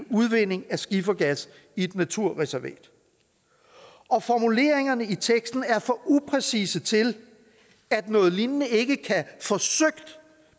udvinding af skifergas i et naturreservat og formuleringerne i teksten er for upræcise til at noget lignende ikke kan